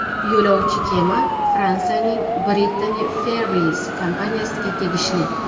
Yo‘lovchi kema Fransiyaning Brittany Ferries kompaniyasiga tegishli.